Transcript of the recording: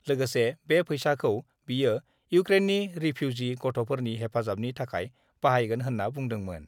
लोगोसे बे फैसाखौ बियो इउक्रेननि रिफिउजि गथ'फोरनि हेफाजाबनि थाखाय बाहायगोन होन्ना बुंदोंमोन I